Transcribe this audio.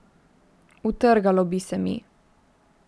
Utrgalo bi se mi.